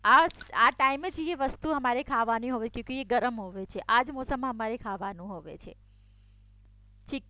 આ ટાઈમે જે વસ્તુ અમારે ખાવાની હોવે છે તે ગરમ હોવે છે આજ મોસમમાં અમારે ખાવાનું હોવે છે.